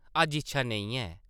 अज्ज इच्छा नेईं ऐ ।